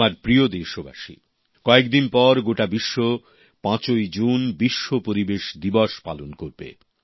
আমার প্রিয় দেশবাসী কয়েক দিন পর গোটা বিশ্ব ৫ই জুন বিশ্ব পরিবেশ দিবস পালন করবে